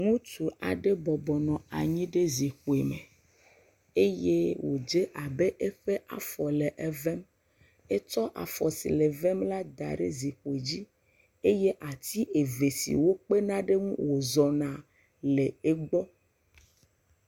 Ŋutsu aɖe bɔbɔ nɔ anyi ɖe zikpui me eye wodze abe eƒe afɔ nɔ evem. Etsɔ afɔ si nɔ avem la da ɖe zikpui dzi eye ati eve siwo kpena ɖe wozɔ le egbɔ.